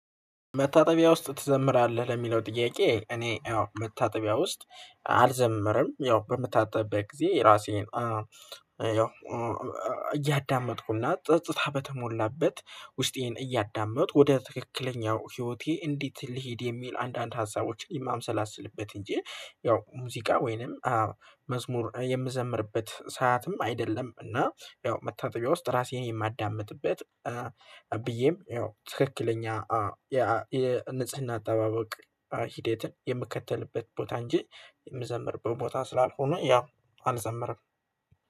መታጠቢያ ውስጥ ትዘምራለህ ለሚለው ጥያቄ? እኔ ያው መታጠቢያ ውስጥ አልዘምርም። ያው በምታጠብበት ጊዜ ራሴን እያዳመጥኩና ጸጥታ በተሞላበት ውስጤን እያዳመጡ ወደ ትክክለኛው ህይወቴ እንዴት ልሂድ የሚል አንዳንድ ሀሳቦችን የማንሰላስልበት እንጂ ያው ሙዚቃ ወይንም መዝሙር የምዘምርበት ሰዓትም አይደለም። እና ያው መታጠቢያ ውስጥ ራሴን የማዳምጥበት ብዬም ያው ትክክለኛ የንጽህና አጠባበቅ ሂደትን የምከተልበት ቦታ እንጂ የምዘምርበት ቦታ ስላልሆነ ያው አልዘመረም።